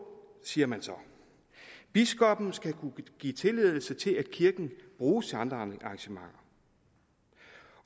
siger man så biskoppen skal kunne give tilladelse til at kirken bruges til andre arrangementer